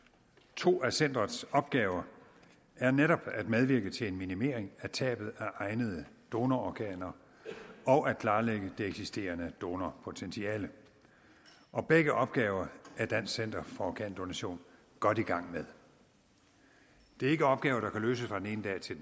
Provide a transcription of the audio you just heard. to af centerets opgaver er netop at medvirke til en minimering af tabet af egnede donororganer og at klarlægge det eksisterende donorpotentiale og begge opgaver er dansk center for organdonation godt i gang med det er ikke opgaver der kan løses fra den ene dag til